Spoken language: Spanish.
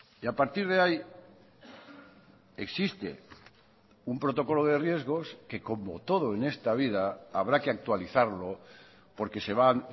y a partir de ahí existe un protocolo de riesgos que como todo en esta vida habrá que actualizarlo porque se van